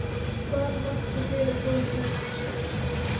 Hvað vakti fyrir honum með þessu?